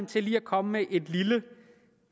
til lige at komme med et lille